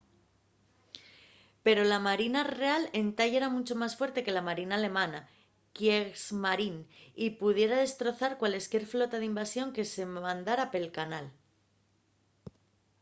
pero la marina real entá yera muncho más fuerte que la marina alemana kriegsmarine” y pudiera destrozar cualesquier flota d’invasión que se mandara pela canal